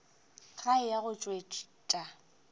ge a eya go tšwetša